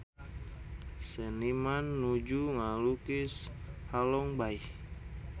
Seniman nuju ngalukis Halong Bay